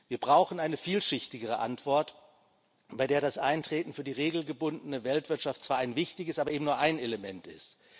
Wir brauchen eine vielschichtigere Antwort, bei der das Eintreten für die regelgebundene Weltwirtschaft zwar ein wichtiges, aber eben nur ein Element ist.